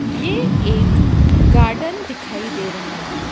ये एक गार्डन दिखाई दे रहा है।